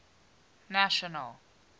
national